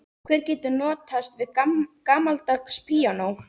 Hver getur notast við gamaldags píanó?